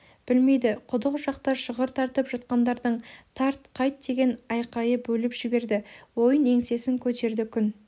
білмейді құдық жақта шығыр тартып жатқандардың тарт қайт деген айқайы бөліп жіберді ойын еңсесін көтерді күн